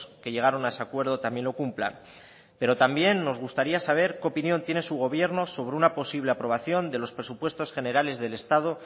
que llegaron a ese acuerdo también lo cumplan pero también nos gustaría saber qué opinión tiene su gobierno sobre una posible aprobación de los presupuestos generales del estado